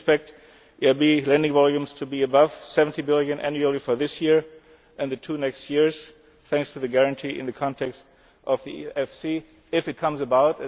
I do expect EIB lending volumes to be above EUR 70 billion annually for this year and the two next years, thanks to the guarantee in the context of EFSI, if it comes about.